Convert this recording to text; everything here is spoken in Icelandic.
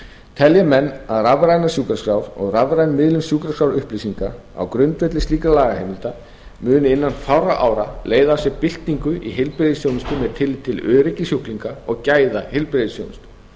telja menn að rafrænar sjúkraskrár og rafræn miðlun sjúkraskrárupplýsinga á grundvelli slíkrar lagaheimildar muni innan fárra ára leiða af sér byltingu í heilbrigðisþjónustu með tilliti til öryggis sjúklinga og gæða heilbrigðisþjónustu